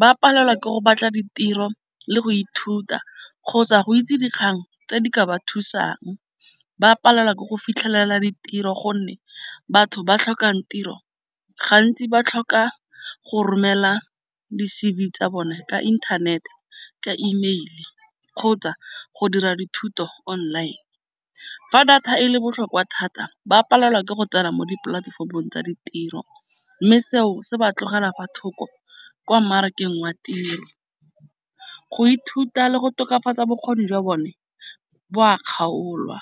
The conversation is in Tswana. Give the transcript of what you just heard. Ba palelwa ke go batla ditiro le go ithuta kgotsa go itse dikgang tse di ka ba thusang. Ba palelwa ke go fitlhelela ditiro gonne batho ba tlhokang tiro, gantsi ba tlhoka go romela di-C_V tsa bone ka inthanete, ka email kgotsa go dira dithuto online. Fa data e le botlhokwa thata ba palelwa ke go tsena mo dipolatefomong tsa ditiro. Mme seo se ba tlogela fa thoko kwa mmarakeng wa tiro. Go ithuta le go tokafatsa bokgoni jwa bone, bo a kgaolwa.